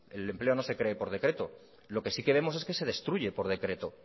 que el empleo no se cree por decreto lo que sí que vemos es que se destruye por decreto